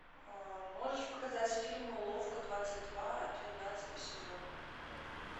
можешь показать фильм уловка двадцать два двенадцатый сезон